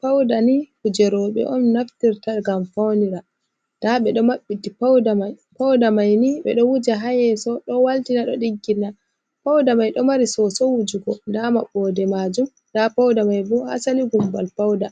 Pawda ni kuje rowɓe on naftirta ngam fawnira .Ndaa ɓe ɗo maɓɓiti pawda may ni ,ɓe ɗo wuja haa yeeso ,ɗo waltina, ɗo ɗiggina, pawda may ɗo mari soso wujugo .Ndaa maɓɓoode maajum ,ndaa pawda may bo, asali gummbal pawda